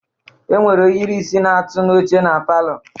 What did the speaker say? Enwere ohiri isi na-atụ na oche na palọ.